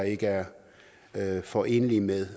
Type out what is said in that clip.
ikke er forenelige med